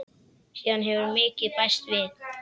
Síðan hefur mikið bæst við.